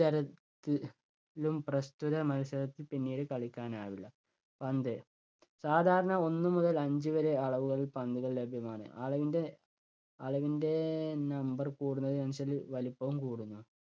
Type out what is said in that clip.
തര~ത്തി~ലും പ്രസ്തുത മത്സരത്തിൽ പിന്നീട് കളിക്കാനാവില്ല. പന്ത് സാധാരണ ഒന്ന് മുതൽ അഞ്ച് വരെ അളവുകളിൽ പന്തുകൾ ലഭ്യമാണ്. അളവിൻ്റെ, അളവിൻ്റെ number കൂടുന്നതിനനുസരിച്ച് വലിപ്പവും കൂടുന്നു.